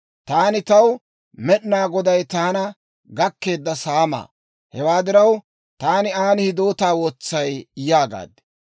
Taani taw, «Med'inaa Goday taana gakkeedda saamaa; hewaa diraw, taani aan hidootaa wotsay» yaagaad.